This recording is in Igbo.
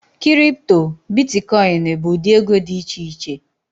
Kịrịpụtọ, bịtịkọyịnị bu ụdị ego di icheiche